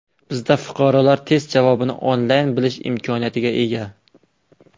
Bizda fuqarolar test javobini onlayn bilish imkoniyatiga ega.